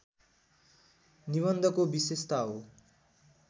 निबन्धको विशेषता हो